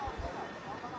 Qalmadı.